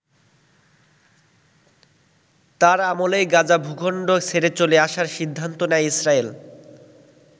তার আমলেই গাজা ভূখন্ড ছেড়ে চলে আসার সিদ্ধান্ত নেয় ইসরায়েল।